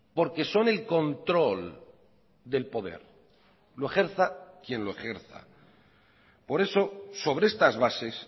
porque son el control del poder lo ejerza quien lo ejerza por eso sobre estas bases